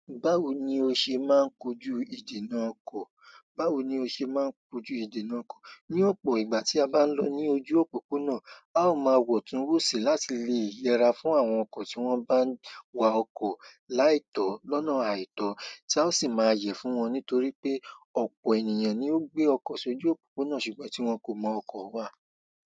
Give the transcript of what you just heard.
Báwo ni o ṣe máa ń kojú ìdènà ọkọ̀? Báwo ni o ṣe máa ń kojú ìdènà ọkọ̀? Ní ọ̀pọ̀ ìgbà tí a bá ń lọ ní ojú òpópónà, a ó ma wọ̀ tún wòsì láti lè yẹra fún àwọn ọkọ̀ tí wọ́n bá ń wa ọkọ̀ láì tọ́ lọ́nà àìtọ́, tí a ó sì máa yẹ fún wọn nítorí pé ọ̀pọ̀ ènìyàn ni ó gbé ọkọ̀ sí ojú òpópónà ṣùgbọ́n tí wọ́n kò mọ ọkọ̀ wà.